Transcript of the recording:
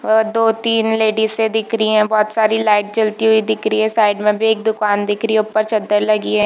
दो-तीन लेडिसे दिख रही है बहुत सारी लाइट जलती हुई दिख रही है साइड में भी एक दुकान दिख रही हैऊपर चद्दर लगी हुई है।